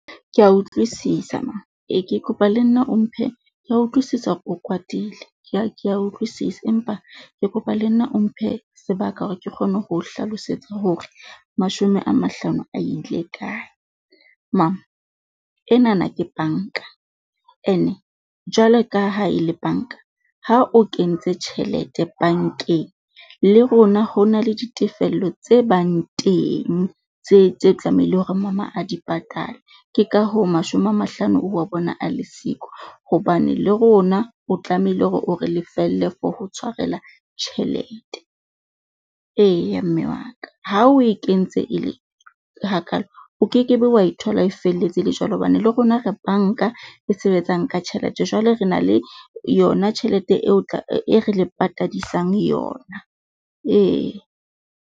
Kea utlwisisa mama ee ke kopa le nna o mphe kea utlwisisa hore o kwatile. Kea kea utlwisisa, empa ke kopa le nna o mphe sebaka hore ke kgone ho o hlalosetsa hore mashome a mahlano a ile kae. Mama enana ke bank-a ene jwalo ka ha e le bank-a. Ha o kentse tjhelete bank-eng le rona ho na le ditefello tse bang teng tse tse tlamehileng hore mama a di patale. Ke ka hoo mashome a mahlano o wa bona a le siko, hobane le rona o tlamehile hore o re lefelle for ho tshwarela tjhelete. Eya mme wa ka ha o e kentse e le hakalo, o kekebe wa e thola e felletse e le jwalo, hobane le rona re bank-a e sebetsang ka tjhelete jwale re na le yona tjhelete eo e re le patadisang yona, ee.